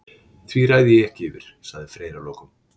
Því ræð ég ekki yfir, sagði Freyr að lokum.